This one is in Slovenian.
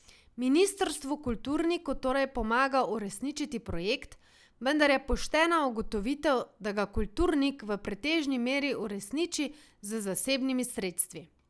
Ministrstvo kulturniku torej pomaga uresničiti projekt, vendar je poštena ugotovitev, da ga kulturnik v pretežni meri uresniči z zasebnimi sredstvi.